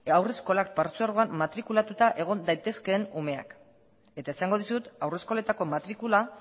haurreskola partzuergoan matrikulatuta egon daitezkeen umeak eta esango dizut haurreskoletako matrikula